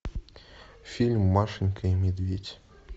фильм машенька и медведь